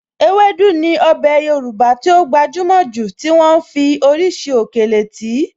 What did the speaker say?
Ewédú ní ọbẹ̀ Yorùbá tí ó gbajúmọ̀ jù tí wọ́n ń fi oríṣiríṣi òkèlè tì í.